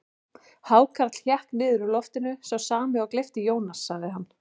Hákarl hékk niður úr loftinu, sá sami og gleypti Jónas, sagði hann.